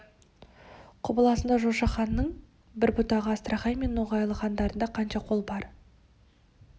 құбыласында жошы ханның бір бұтағы астрахань мен ноғайлы хандарында қанша қол бар